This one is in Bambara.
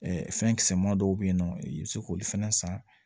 fɛn kisɛman dɔw bɛ yen nɔ i bɛ se k'olu fɛnɛ san